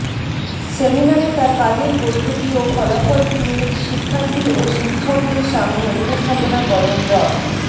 সেমিনারে তার কাজের পদ্ধতি ও ফলাফল চুয়েট শিক্ষার্থী ও শিক্ষকদের সামনে উপস্থাপন করেন ড